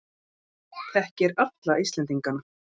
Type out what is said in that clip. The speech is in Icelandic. Þekkir alla Íslendingana.